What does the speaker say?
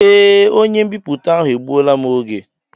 Ee, onye m'biputa ahụ egbuola m oge.